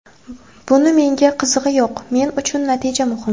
Buni menga qizig‘i yo‘q, men uchun natija muhim.